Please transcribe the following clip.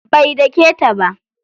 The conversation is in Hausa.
Bai dake ta ba.